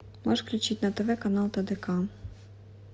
можешь включить на тв канал тдк